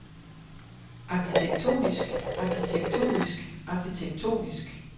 arkitektonisk arkitektonisk arkitektonisk